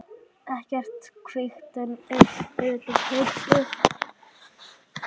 Ekkert kvikt utan þau tvö.